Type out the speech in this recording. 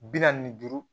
Bi naani ni duuru